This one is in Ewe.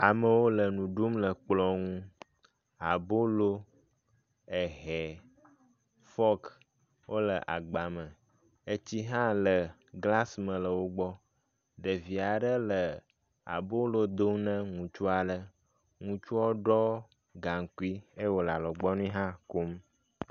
Amewo le nu ɖum le kplɔ nu. abolo, ehɛ, fɔk wo le agba me. etsi hã le glasi me le wo gbɔ.